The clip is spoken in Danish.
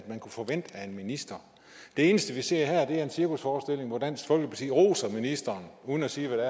man kunne forvente af en minister det eneste vi ser her er en cirkusforestilling hvor dansk folkeparti roser ministeren uden at sige hvad